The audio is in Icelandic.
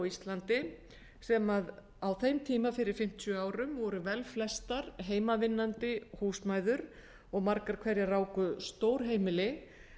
á íslandi sem á þeim tíma fyrir fimmtíu árum voru velflestar heimavinnandi húsmæður og margar hverjar ráku stór heimili